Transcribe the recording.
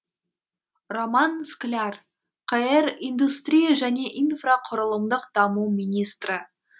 роман скляр қр индустрия және инфрақұрылымдық даму министрі